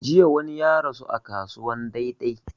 Jiya wani ya rasu a kasuwan dei dei